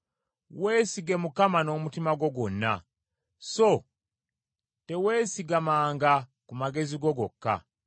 Weesige Mukama n’omutima gwo gwonna, so teweesigamanga ku magezi go gokka.